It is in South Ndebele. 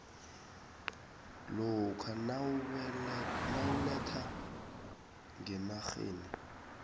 lokha nawuletha ngenarheni